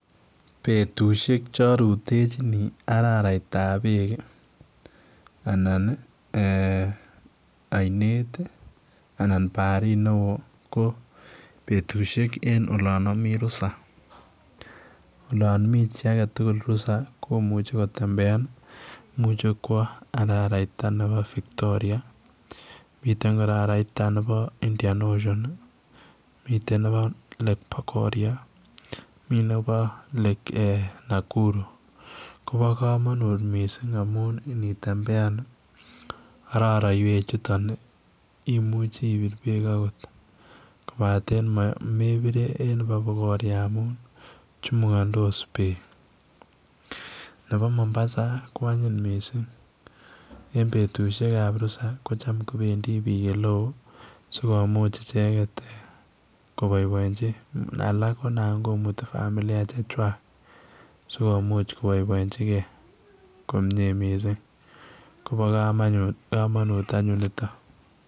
Betusiek che arutenjini arairaiab beek ii anan ii eeh ainet ii anan bariit ne wooh ko betusiek en olaan amii rusaa, olaan mii chii tugul rusaa komuchei kotembean ii imuche kwaah arairaitaa nebo Victoria mitten kora arairaitaab Indian ocean ii, miten nebo lake bogoria ,mitten nebo lake Nakuru kobaa kamanut missing amuun initembean ii araraiweet chutoon ii imuchii iniitu beek akoot kobateen me ire en nebo bogoria amuun chumukandos beek nebo mombasa ko anyiin missing eng betusiek ab rusaa ko ham kobendii biik ole wooh ii sikomuuch ichegeet eeh kobaibituun alaak Konam kimituu familia che chaang sikomuuch koboebdnjin kei missing kobaa kamanut any nitoon.